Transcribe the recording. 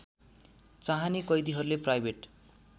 चाहने कैदीहरूले प्राइभेट